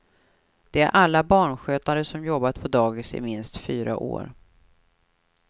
De är alla barnskötare som jobbat på dagis i minst fyra år.